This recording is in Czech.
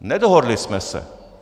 Nedohodli jsme se.